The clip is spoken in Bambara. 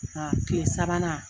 Aa kile sabanan